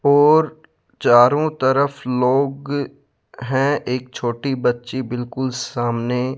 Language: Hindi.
और चारों तरफ लोग हैं एक छोटी बच्ची बिल्कुल सामने --